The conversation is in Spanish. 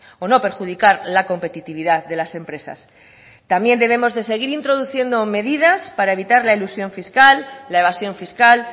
o no perjudicar la competitividad de las empresas también debemos de seguir introduciendo medidas para evitar la elusión fiscal la evasión fiscal